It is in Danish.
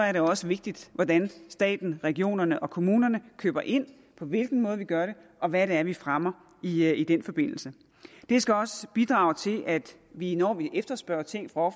er det også vigtigt hvordan staten regionerne og kommunerne køber ind på hvilken måde de gør det og hvad det er de fremmer i den forbindelse det skal også bidrage til at vi når vi efterspørger ting fra